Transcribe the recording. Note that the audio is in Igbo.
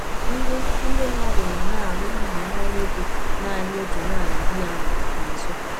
Ndị Ndị mmadụ nọ na-alụ ili nwa nwoke naanị otu nwanyị di ya nwụrụ na Nsukka.